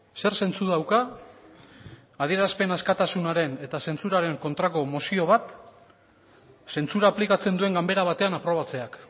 zer zentzu dauka adierazpen askatasunaren eta zentsuraren kontrako mozio bat zentsura aplikatzen duen ganbera batean aprobatzeak